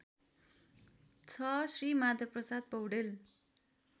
६ Shri Madhavprasad Paudel